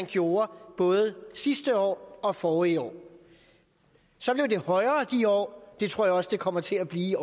gjort både sidste år og forrige år så blev det højere i de år og det tror jeg også det kommer til at blive